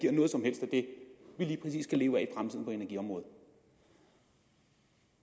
det vi lige præcis skal leve af i energiområdet